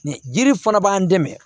Jiri fana b'an dɛmɛ